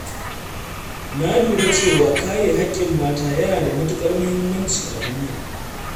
Na lura cewa kare haƙƙin mata yana da matuƙar muhimmanci a duniya.